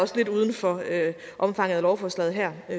lidt uden for omfanget af lovforslaget her det